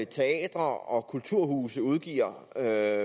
teatre og kulturhuse udgiver af